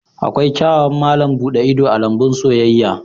Akwai kyawawan malam buɗe ido a lambun soyayya